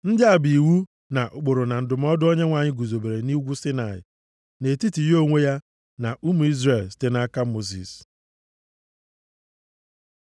Ndị a bụ iwu, na ụkpụrụ na ndụmọdụ Onyenwe anyị guzobere nʼugwu Saịnaị, nʼetiti ya onwe ya, na ụmụ Izrel, site nʼaka Mosis. + 26:46 \+xt Lev 7:38; 27:34\+xt*